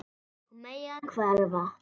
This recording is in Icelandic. Og mega hverfa.